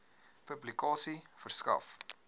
publikasie verskaf